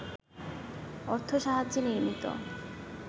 অর্থসাহায্যে নির্মিত